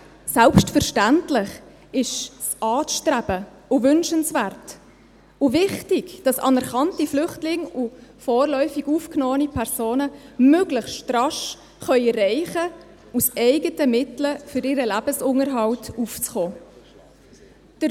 Selbstverständlich ist es anzustreben, wünschenswert und wichtig, dass anerkannte Flüchtlinge und vorläufig aufgenommene Personen möglichst rasch aus eigenen Mitteln für ihren Lebensunterhalt aufkommen können.